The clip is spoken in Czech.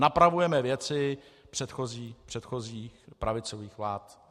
Napravujeme věci předchozích pravicových vlád.